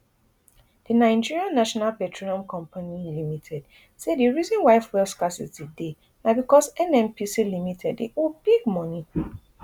di nigeria national petroleum company limited say di reason why fuel scarcity dey na becos nnpc limited dey owe big money